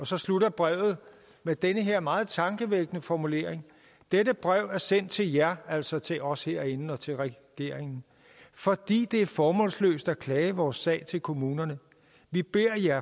så slutter brevet med denne her meget tankevækkende formulering dette brev er sendt til jer altså til os herinde og til regeringen fordi det er formålsløst at klage vores sag til kommunerne vi beder jer